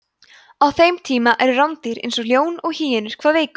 á þeim tíma eru rándýr eins og ljón og hýenur hvað virkust